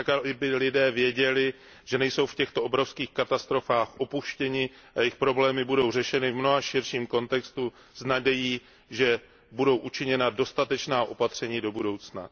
Tak aby lidé věděli, že nejsou v těchto obrovských katastrofách opuštění a jejich problémy budou řešeny v mnohem širším kontextu s nadějí, že budou učiněna dostatečná opatření do budoucna.